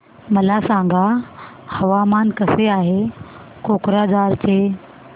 मला सांगा हवामान कसे आहे कोक्राझार चे